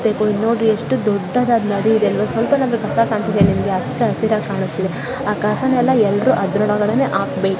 ಇಲ್ಲಿ ನೋಡ್ರಿ ಇದು ಎಷ್ಟು ದೊಡ್ಡದಾದ ನದಿ ಇದೆ ಅಲ್ವಾ ಇದು ಸ್ವಲ್ಪನಾದ್ರೂ ಕಸ ಕಾಣ್ತಿದ್ಯ ನಿಮಗೆ ಇಲ್ಲಿ ಮಚ್ಚಾ ಶಿರಾ ಕಾಣ್ತಾ ಇದೆ ಆ ಕಸನೆಲ್ಲ ಎಲ್ರೂ ಅದರೊಳಗಡೆನೆ ಹಾಕ್ಬೇಕು.